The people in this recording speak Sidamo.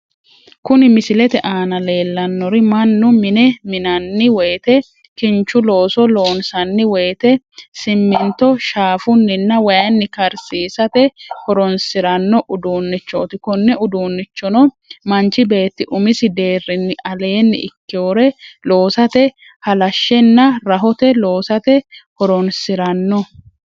Kuni misilete aanna leelanori manu mine minanni woyite kinchu looso loonsanni woyite siminito shaafuninna wayini karisisate horonsiranno udunichoti, kone udunichono manchi beeti umisi deerinni aleni ikkewore loosate halashenna rahote loossate horonsiranno